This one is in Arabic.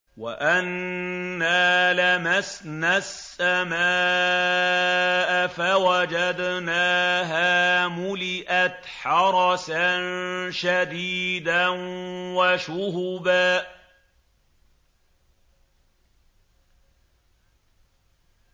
وَأَنَّا لَمَسْنَا السَّمَاءَ فَوَجَدْنَاهَا مُلِئَتْ حَرَسًا شَدِيدًا وَشُهُبًا